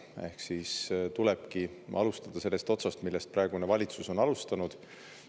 Ehk siis tulebki alustada sellest otsast, millest praegune valitsus on alustanud.